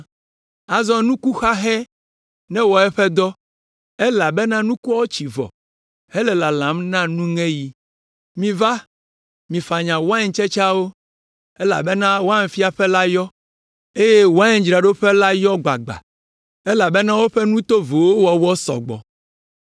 Azɔ nukuxahɛ newɔ eƒe dɔ elabena nukuawo tsi vɔ hele lalam na nuŋeɣi. Miva, mifanya waintsetseawo, elabena wainfiaƒe la yɔ, eye waindzraɖoƒe la yɔ gbagba, elabena woƒe nu tovowo wɔwɔ sɔ gbɔ.”